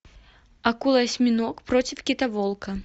акула осьминог против китоволка